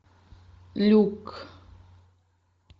люк